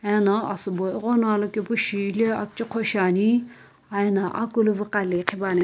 ena asubo ighono alokepu shi hile akchoqho shiani aiyi na akulu vuqaile qhipuani.